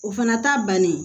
O fana ta bannen